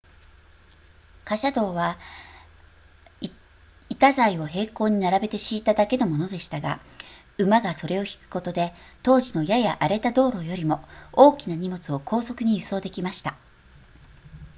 貨車道は板材を並行に並べて敷いただけのものでしたが馬がそれを引くことで当時のやや荒れた道路よりも大きな荷物を高速に輸送できました